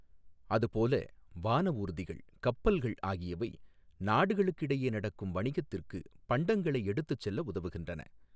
அது போல வானஊர்திகள், கப்பல்கள் ஆகியவை நாடுகளுக்கிடையே நடக்கும் வணிகத்திற்கு பண்டங்களை எடுத்து செல்ல உதவுகின்றன.